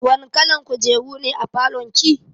Wani kalan kujeru ne a falon ki?